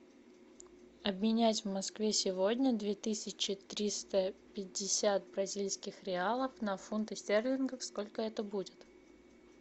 обменять в москве сегодня две тысячи триста пятьдесят бразильских реалов на фунты стерлингов сколько это будет